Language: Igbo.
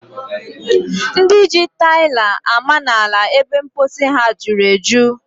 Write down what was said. Ndị ji taili ama n'ala ebe mposi ha juru eju.